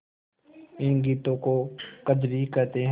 इन गीतों को कजरी कहते हैं